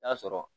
N'a sɔrɔ